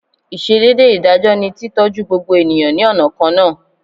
Ìsedédé ìdájọ́ ni tí tọ́jú gbogbo ènìyàn ní ọ̀nà kan náà